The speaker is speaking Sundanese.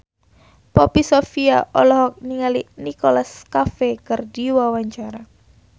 Poppy Sovia olohok ningali Nicholas Cafe keur diwawancara